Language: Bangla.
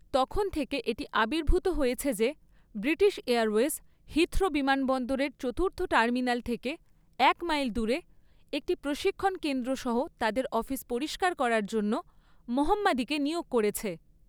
তখন থেকে এটি আবির্ভূত হয়েছে যে ব্রিটিশ এয়ারওয়েজ হিথ্রো বিমানবন্দরের চতুর্থ টার্মিনাল থেকে এক মাইল দূরে একটি প্রশিক্ষণ কেন্দ্র সহ তাদের অফিস পরিষ্কার করার জন্য মোহাম্মিদিকে নিয়োগ করেছে।